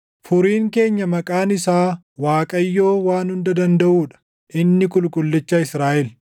Furiin keenya maqaan isaa Waaqayyoo Waan Hunda Dandaʼuu dha; inni Qulqullicha Israaʼel.